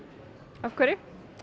af hverju